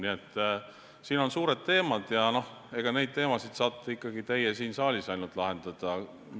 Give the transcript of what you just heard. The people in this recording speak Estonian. Nii et need on suured teemad ja neid teemasid saate ikkagi ainult teie siin saalis lahendada.